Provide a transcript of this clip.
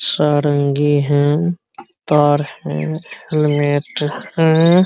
सारंगी है तार है हेलमेट है ।